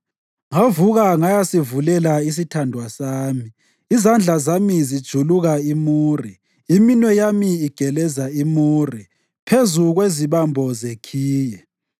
Ngavuka ngayasivulela isithandwa sami, izandla zami zijuluka imure, iminwe yami igeleza imure, phezu kwezibambo zekhiye.